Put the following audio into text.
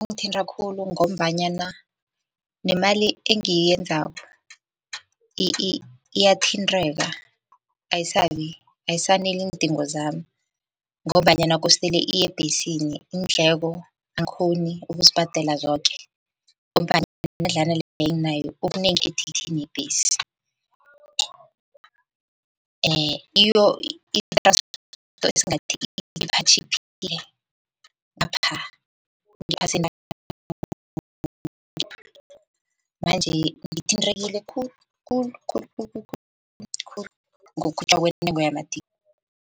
Kungithinta khulu ngombanyana nemali engiyenzako iyathintheka ayisabi, ayisaneli iindingo zami, ngombanyana kostele iyebhesini iindleko angikhoni ukuzibhadela zoke, imadlana leyo enginayo yebhesi. manje ngithintekile khulu kwentengo yamathikithi